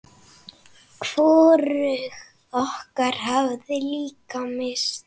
Hvorug okkar hafði mikla lyst.